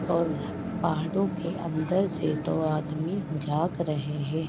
और पहाड़ो के अंदर से दो आदमी झांक रहे हैं ।